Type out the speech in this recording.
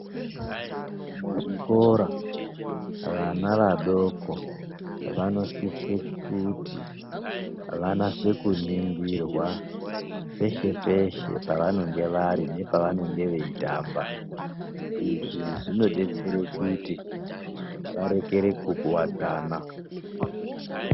Muzvikora vana vadoko vanosise kuti vanase kuningirwa peshe peshe pavanenge vari nepavanenge veitamba izvi zvinodetsere kuti vakorere kukuvadzana.